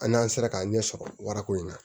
An n'an sera k'an ɲɛ sɔrɔ warako in na